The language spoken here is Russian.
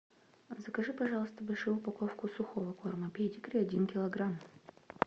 закажи пожалуйста большую упаковку сухого корма педигри один килограмм